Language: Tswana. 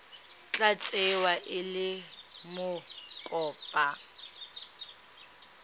tla tsewa e le mokopa